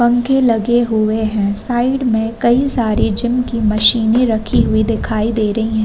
पंखे लगे हुवे हैं। साइड में कई सारी जिम की मशीनें रखी हुवी दिखाई दे रही हैं।